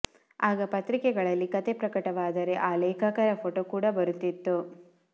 ಆಗ ಪತ್ರಿಕೆಗಳಲ್ಲಿ ಕತೆ ಪ್ರಕಟವಾದರೆ ಆ ಲೇಖಕರ ಫೋಟೊ ಕೂಡ ಬರುತ್ತಿತ್ತು